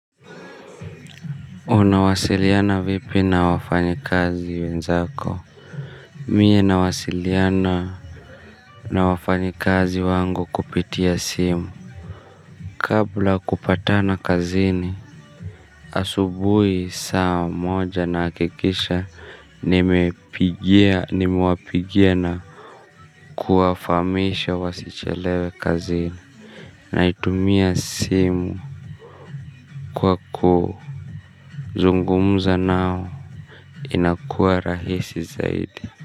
Unawasiliana vipi na wafanyikazi wenzako. Mimi nawasiliana na wafanyikazi wangu kupitia simu kabla ya kupatana kazini. Asubuhi saa moja nahikikisha nimepigia nimewapigia na kuwafamisha wasichelewe kazini. Naitumia simu kwa kuu nazungumuza nao inakuwa rahisi zaidi.